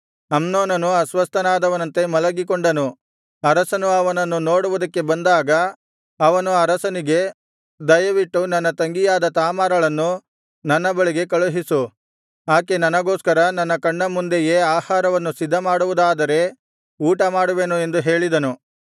ಅಮ್ನೋನನು ಅಸ್ವಸ್ಥನಾದವನಂತೆ ಮಲಗಿಕೊಂಡನು ಅರಸನು ಅವನನ್ನು ನೋಡುವುದಕ್ಕೆ ಬಂದಾಗ ಅವನು ಅರಸನಿಗೆ ದಯವಿಟ್ಟು ನನ್ನ ತಂಗಿಯಾದ ತಾಮಾರಳನ್ನು ನನ್ನ ಬಳಿಗೆ ಕಳುಹಿಸು ಆಕೆ ನನಗೋಸ್ಕರ ನನ್ನ ಕಣ್ಣ ಮುಂದೆಯೇ ಆಹಾರವನ್ನು ಸಿದ್ಧಮಾಡಿಕೊಡುವುದಾದರೆ ಊಟಮಾಡುವೆನು ಎಂದು ಹೇಳಿದನು